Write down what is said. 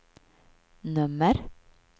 nummer